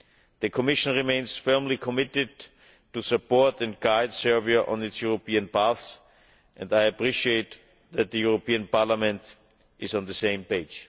The Commission remains firmly committed to support and guide Serbia on its European path and I appreciate that the European Parliament is on the same page.